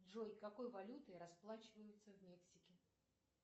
джой какой валютой расплачиваются в мексике